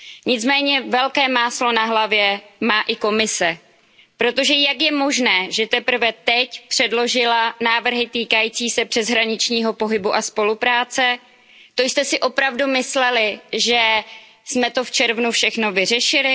Nicméně velké máslo na hlavě má i Komise Jak je možné, že teprve teď předložila návrhy týkající se přeshraničního pohybu a spolupráce? To jste si opravdu mysleli, že jsme to v červnu všechno vyřešili?